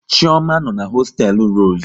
Chioma no n'hosteelu Rosu